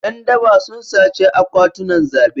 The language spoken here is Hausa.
Yan daba sun sace akwatunan zabe.